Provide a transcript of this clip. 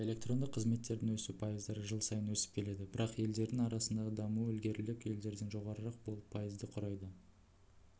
электрондық қызметтердің өсу пайыздары жыл сайын өсіп келеді бірақ елдерінің арасындағы дамуы ілгерірек елдерден жоғарырақ болып пайызды құрайды